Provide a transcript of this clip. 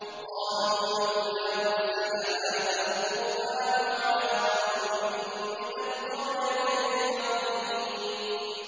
وَقَالُوا لَوْلَا نُزِّلَ هَٰذَا الْقُرْآنُ عَلَىٰ رَجُلٍ مِّنَ الْقَرْيَتَيْنِ عَظِيمٍ